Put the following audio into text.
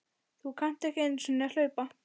Þú kannt ekki einu sinni að hlaupa